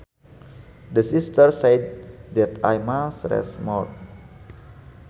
The Sister said that I must rest more